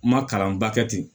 N ma kalanba kɛ ten